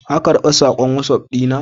Ka karɓi sakon Wasof na?